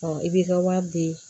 i b'i ka wari di